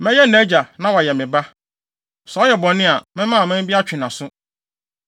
Mɛyɛ nʼagya, na wayɛ me Ba. Sɛ ɔyɛ bɔne a, mɛma aman bi atwe nʼaso.